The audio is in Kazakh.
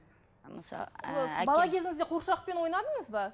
ы ыыы бала кезіңізде қуыршақпен ойнадыңыз ба